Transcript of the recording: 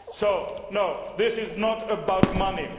So this is not about money